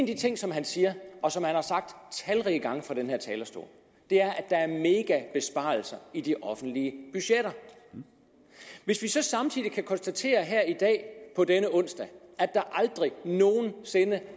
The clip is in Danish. de ting som han siger og som han har sagt talrige gange fra den her talerstol er at der er megabesparelser i de offentlige budgetter hvis vi så samtidig kan konstatere her i dag på denne onsdag at der aldrig nogen sinde